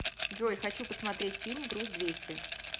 джой хочу посмотреть фильм груз двести